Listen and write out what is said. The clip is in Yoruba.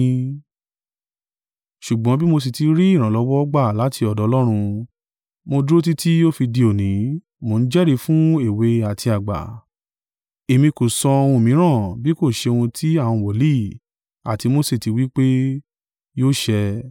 Ṣùgbọ́n bí mo sì tí ri ìrànlọ́wọ́ gbà láti ọ́dọ̀ Ọlọ́run, mo dúró títí ó fi di òní, mo ń jẹ́rìí fún èwe àti àgbà, èmi kò sọ ohun mìíràn bí kò ṣe ohun tí àwọn wòlíì àti Mose tí wí pé, yóò ṣẹ.